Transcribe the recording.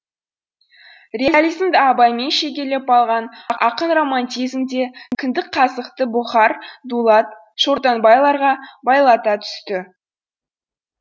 реализмді абаймен шегелеп алған ақын романтизмде кіндік қазықты бұхар дулат шортанбайларға байлата түседі